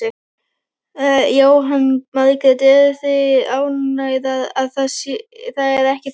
Jóhanna Margrét: Eruð þið ánægðar að það er ekki þannig?